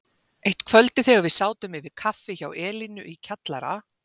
Eitt kvöldið þegar við sátum yfir kaffi hjá Elínu í kjallara